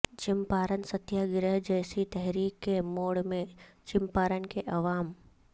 Champaran Satyagraha جیسی تحریک کے موڈ میں چمپارن کے عوام